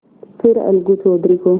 फिर अलगू चौधरी को